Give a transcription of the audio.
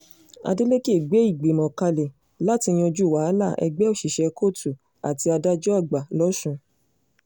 adeleke gbé ìgbìmọ̀ kalẹ̀ láti yanjú wàhálà ẹgbẹ́ òṣìṣẹ́ kóòtù àti adájọ́ àgbà lọ́sùn